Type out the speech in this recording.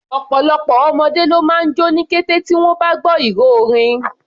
Ọ̀pọ̀lọpọ̀ ọmọdé ló máa jó ní kété tí wọ́n bá gbọ́ ìró orin.